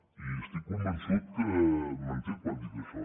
i estic convençut que m’entén quan dic això